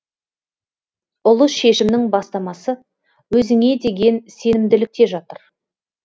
ұлы шешімнің бастамасы өзіңе деген сенімділікте жатыр